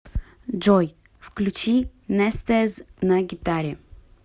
джой включи нестез на гитаре